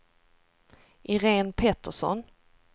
Irene Pettersson